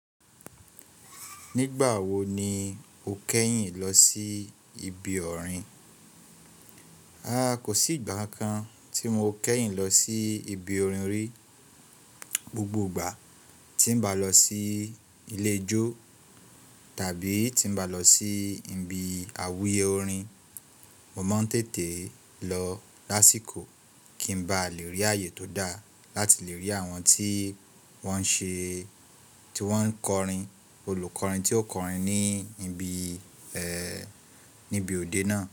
Nígbà wo ni o kẹ́yìn lọ sí ibi ọ̀rin? Rárá, kò sí ìgbà kan tí mo kẹ́yìn lọ sí ibi orin rí. Gbogbo ìgbà tí n bá lọ sí ilé ijó tàbí tí n bá lọ sí ibi àwùye orin, mo máa ń tètè lọ lásìkò kí n má ba lè rí ààyè tó dá láti lè rí àwọn tí wọ́n ṣe ń kọrin, olùkọrin tí ó ń kọrin ní ibi òde náà.